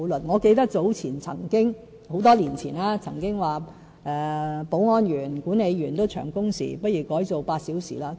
我記得在多年前，曾經有人提出，保安員、管理員的工時太長，不如改為8小時工作。